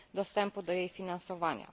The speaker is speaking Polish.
dostępu do jej finansowania.